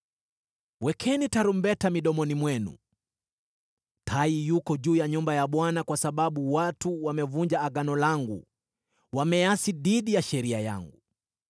“Wekeni tarumbeta midomoni mwenu! Tai yuko juu ya nyumba ya Bwana kwa sababu watu wamevunja Agano langu, wameasi dhidi ya sheria yangu.